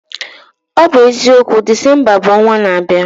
Ọ bụ eziokwu, Disemba bụ ọnwa n'abịa